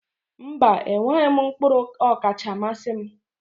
Mba, enweghị m mkpụrụ ọkacha mmasị m.